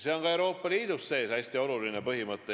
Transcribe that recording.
See on ka Euroopa Liidu sees hästi oluline põhimõte.